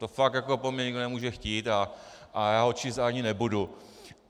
To fakt jako po mně nikdo nemůže chtít a já ho číst ani nebudu.